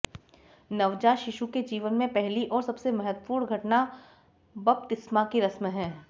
नवजात शिशु के जीवन में पहली और सबसे महत्वपूर्ण घटना बपतिस्मा की रस्म है